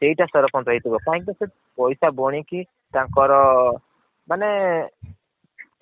ସେଇଟା ସରପଞ୍ଚ ହେଇଥିବ କାହିଁକି ନା ସେ ପଇସା ବୁଣିକି ତାଙ୍କର ମାନେ